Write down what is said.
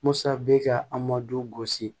Musa bɛ ka a ma du wɔsi